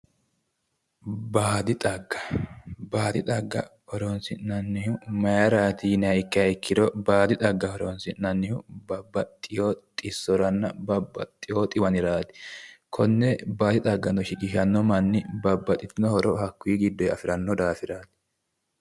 Baadi xagga, baadi xagga horonsi'nannihu mayiirati yinayiiha ikkiro, baadi xagga horonsi'nayihu babbaxewo xissoranna baxxewo dhiwaniraati konne baadi xaggano shiqishanno manninno babbaxitino horonno isi gidoyi afiranno daafiraati.